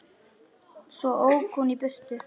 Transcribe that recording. Svo ók hún í burtu.